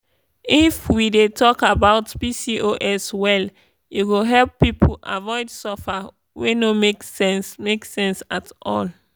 if we dey talk about pcos well e go help people avoid suffer wey no make sense make sense at all.